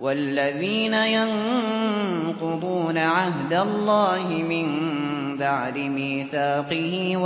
وَالَّذِينَ يَنقُضُونَ عَهْدَ اللَّهِ مِن بَعْدِ مِيثَاقِهِ